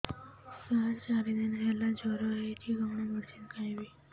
ସାର ଚାରି ଦିନ ହେଲା ଜ୍ଵର ହେଇଚି କଣ ମେଡିସିନ ଖାଇବି